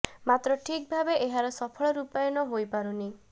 ମାତ୍ର ଠିକ୍ ଭାବେ ଏହାର ସଫଳ ରୂପାୟନ ହୋଇ ପାରୁନି